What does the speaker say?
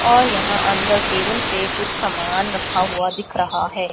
और यहां अंदर टेबल पे कुछ सामान रखा हुआ दिख रहा है।